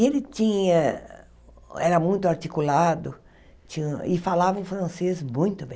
E ele tinha, era muito articulado, tin e falava um francês muito bem.